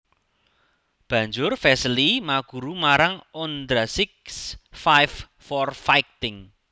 Banjur Vesely maguru marang Ondrasik s Five for Fighting